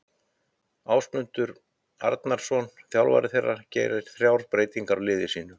Ásmundur Arnarsson þjálfari þeirra gerir þrjár breytingar á liði sínu.